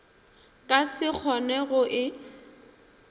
ka se kgone go e